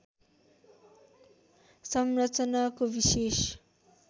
संरचनाको विशेष